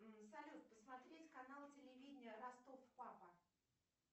салют посмотреть канал телевидения ростов папа